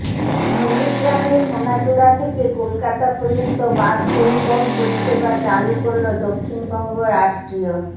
নন্দীগ্রামের সোনাচূড়া থেকে কলকাতা পর্যন্ত বাস পরিবহণ পরিষেবা চালু করল দক্ষিণবঙ্গ রাষ্ট্রীয়